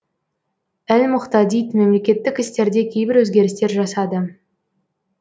әл мұғтадид мемлекеттік істерде кейбір өзгерістер жасады